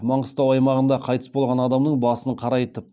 маңғыстау аймағында қайтыс болған адамның басын қарайтып